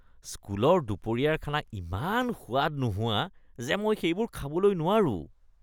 স্কুলৰ দুপৰীয়াৰ খানা ইমান সোৱাদ নোহোৱা যে মই সেইবোৰ খাবলৈ নোৱাৰো।